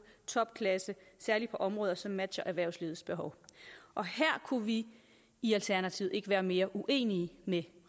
topklasse særlig på områder som matcher erhvervslivets behov og her kunne vi i alternativet ikke være mere uenige med